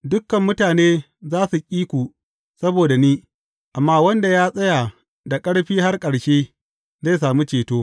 Dukan mutane za su ƙi ku saboda ni, amma wanda ya tsaya da ƙarfi har ƙarshe, zai sami ceto.